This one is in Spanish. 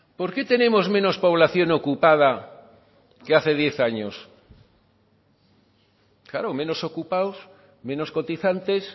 por qué tenemos menos población ocupada que hace diez años claro menos ocupados menos cotizantes